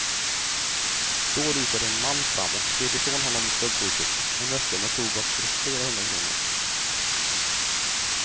Då rusade en man fram och slet ifrån honom stöldgodset, en väska med tobak för flera hundra kronor.